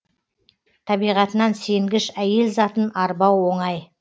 табиғатынан сенгіш әйел затын арбау оңай